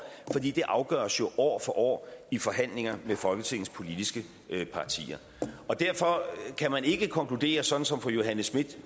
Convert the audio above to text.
det afgøres år for år i forhandlinger med folketingets politiske partier derfor kan man ikke konkludere sådan som fru johanne schmidt